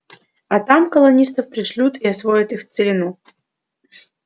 а там колонистов пришлют и освоят их целину